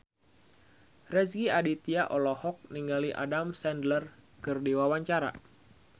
Rezky Aditya olohok ningali Adam Sandler keur diwawancara